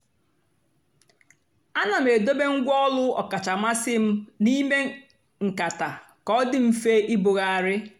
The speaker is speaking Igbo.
àna m èdòbé ngwá ọ́lù ọ́kàchà mmasị́ m n'ímè nkátà kà ọ dị́ mfe ìbùghàrị̀.